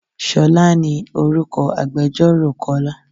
Ṣolá ní orúkọ agbẹjoro Kọ́lá.